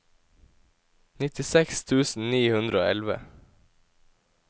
nittiseks tusen ni hundre og elleve